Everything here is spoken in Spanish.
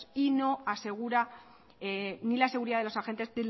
y no asegura ni la seguridad de los agentes